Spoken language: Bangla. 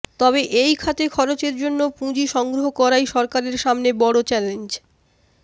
তবে এই খাতে খরচের জন্য পুঁজি সংগ্রহ করাই সরকারের সামনে বড় চ্যালেঞ্জ